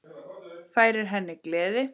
Færir henni gleði.